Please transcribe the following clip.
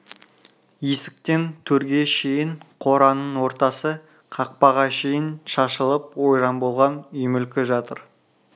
есіктен төрге шейін қораның ортасы қақпаға шейін шашылып ойран болған үй мүлкі жатыр